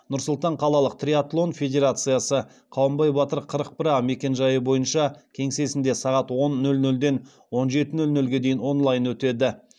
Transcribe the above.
нұр сұлтан қалалық триатлон федерациясы кеңсесінде сағат он нөл нөлден он жеті нөл нөлге дейін онлайн өтеді